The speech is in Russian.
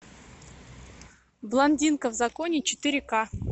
блондинка в законе четыре ка